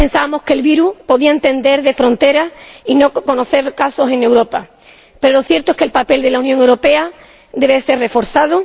Quizás pensábamos que el virus podía entender de fronteras y no conoceríamos casos en Europa, pero lo cierto es que el papel de la Unión Europea debe ser reforzado.